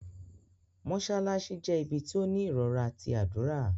Mosalassi jẹ̀ ibí tí o ní irọra tí adúra.